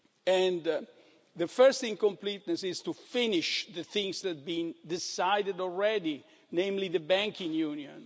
And the first incompleteness is to finish the things that had been decided already, namely the banking union.